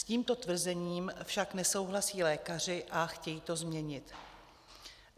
S tímto tvrzením však nesouhlasí lékaři a chtějí to změnit.